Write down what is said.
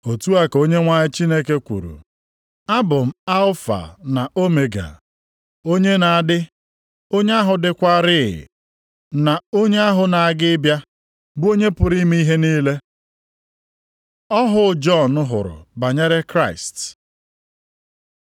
Otu a ka Onyenwe anyị Chineke kwuru, “Abụ m Alfa na Omega, onye na-adị, onye ahụ dịkwaarị, na onye ahụ na-aga ịbịa, bụ onye pụrụ ime ihe niile.” Ọhụ Jọn hụrụ banyere Kraịst